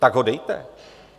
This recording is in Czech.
Tak ho dejte.